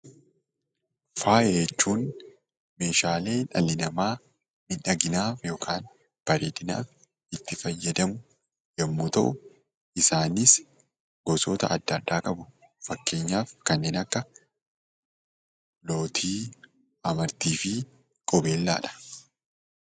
Faaya jechuun meeshaalee dhalli namaa miidhaginaaf yookaan bareedinaaf yommuu ta'u, isaanis gosoota adda addaa qabu. Fakkeenyaaf kanneen akka lootii, amartii fi qubeellaadha.